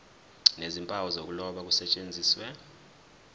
nezimpawu zokuloba kusetshenziswe